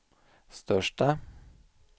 största